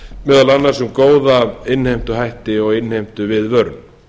meðal annars um góða innheimtuhætti og innheimtuviðvörun